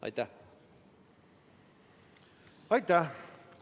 Aitäh!